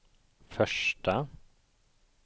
första